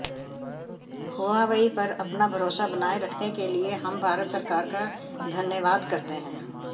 Huawei पर अपना भरोसा बनाये रखने के लिए हम भारत सरकार का धन्यवाद करते हैं